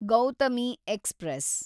Gautami express